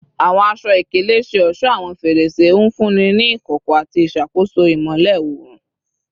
Awọn aṣọ-ikele ṣe ọṣọ awọn ferese, nfunni ni ikọkọ ati iṣakoso imọlẹ oorun